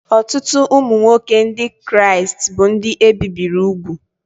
Ọtụtụ ụmụ nwoke Ndị Kraịst bụ ndị e bibiri úgwù